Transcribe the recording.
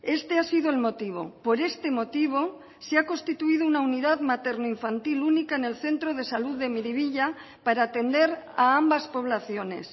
este ha sido el motivo por este motivo se ha constituido una unidad maternoinfantil única en el centro de salud de miribilla para atender a ambas poblaciones